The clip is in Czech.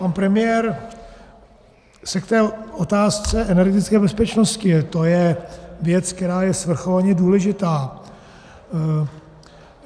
Pan premiér se k té otázce energetické bezpečnosti - to je věc, která je svrchovaně důležitá.